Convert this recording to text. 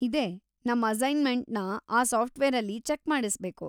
ಇದೆ, ನಮ್‌ ಅಸೈನ್ಮೆಂಟನ್ನ ಆ ಸಾಫ್ಟವೇರಲ್ಲಿ ಚೆಕ್‌ ಮಾಡಿಸ್ಬೇಕು.